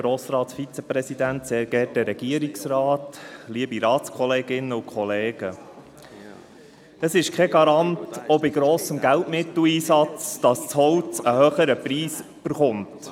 Es ist kein Garant, auch bei grossem Geldmitteleinsatz, dass das Holz einen höheren Preis erhält.